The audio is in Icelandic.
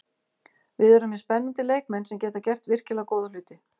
Við erum með spennandi leikmenn sem geta gert virkilega góða hluti.